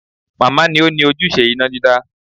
Màmá ni ó ni ojúṣe iná dídá